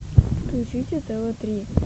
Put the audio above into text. включите тв три